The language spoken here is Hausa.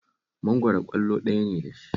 Mangwaro ƙwallo ɗaya ne da shi